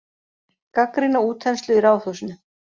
Gagnrýna útþenslu í Ráðhúsinu